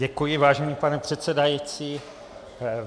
Děkuji, vážený pane předsedající.